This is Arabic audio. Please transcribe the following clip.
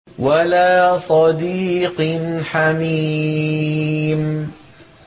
وَلَا صَدِيقٍ حَمِيمٍ